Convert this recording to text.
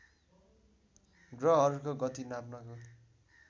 ग्रहहरूको गति नाप्नको